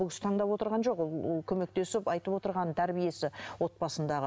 бұл кісі таңдап отырған жоқ ол көмектесіп айтып отырған тәрбиесі отбасындағы